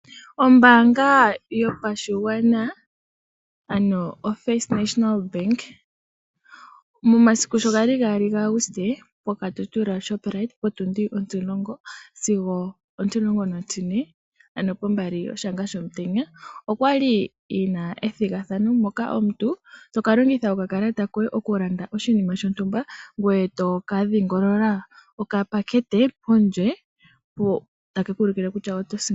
Ombaanga yopashigwana ano oFirst National Bank momasiku sho ga li 2 Auguste poKatutura Shoprite potundi ontimulongo sigo ontmulongo nontine, ano pombali yoshanga shomutenya okwa li yi na ethigathano moka omuntu to ka longitha okakalata koye okulanda oshima shontumba ngoye to ka dhingolola okapakete pondje ko take ku ulukile kutya oto sindana.